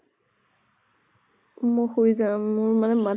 মই শুই যাম, মোৰ ইমান মা